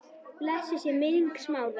Blessuð sé minning Smára.